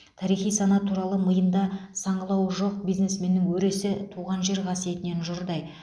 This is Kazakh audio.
тарихи сана туралы миында саңылауы жоқ бизнесменнің өресі туған жер қасиетінен жұрдай